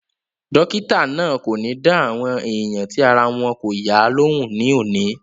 Dọ́kítà náà kò ní dá àwọn èèyàn tí ara wọn kò yá lóhùn ní òní